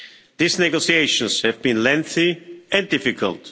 These negotiations have been lengthy and difficult.